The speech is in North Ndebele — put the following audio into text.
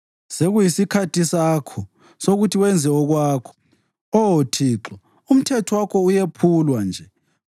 Sekuyisikhathi sakho sokuthi wenze okwakho, Oh Thixo umthetho wakho uyephulwa nje.